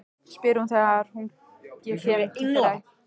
spyr hún þegar ég kem til þeirra Helga í forstofunni.